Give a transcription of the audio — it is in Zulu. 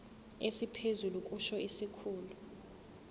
esiphezulu kusho isikhulu